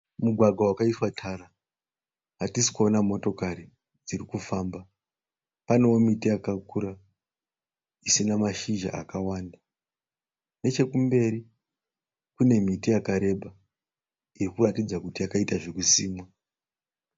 Mugwagwa wakaiswa tara. Hatisi kuona motokari dziri kufamba. Panewo miti yakakura isina mashizha akawanda. Nechekumberi kune miti yakareba iri kuratidza kuti yakaita zvokusimwa.